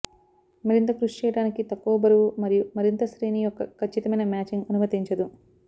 మరింత కృషి చేయడానికి తక్కువ బరువు మరియు మరింత శ్రేణి యొక్క ఖచ్చితమైన మ్యాచింగ్ అనుమతించదు